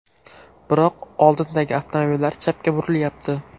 Biroq oldindagi avtomobillar chapga burilyapti.